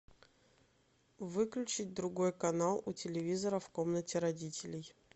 выключить другой канал у телевизора в комнате родителей